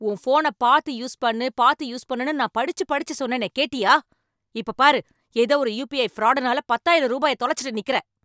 உன் ஃபோன பாத்து யூஸ் பண்ணு பாத்து யூஸ் பண்ணுன்னு நான் படிச்சு படிச்சு சொன்னேனே கேட்டியா. இப்பப் பாரு ஏதோ ஒரு யுபிஐ ஃப்ராடுனால பத்தாயிரம் ரூபாய தொலச்சுட்டு நிக்குற.